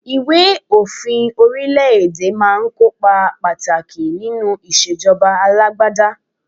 Ìwé òfin orílẹ̀-èdè máa ń kó ipa pàtàkì nínú ìṣèjọba alágbádá.